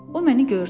O məni gördü.